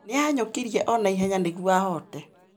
Nĩahanyũkirie o na ihenya nĩguo ahoote